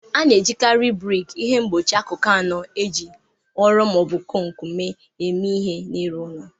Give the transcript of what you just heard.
A na-ejikarị brik, ihe mgbochi akụkụ anọ e ji ụrọ ma ọ bụ kọnk mee eme ihe, n'ịrụ ụlọ.